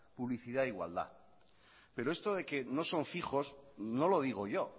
publicidad e igualdad pero esto de que no son fijos no lo digo yo